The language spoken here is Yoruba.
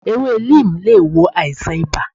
Ewe Neem lé wò àìsàn ìbá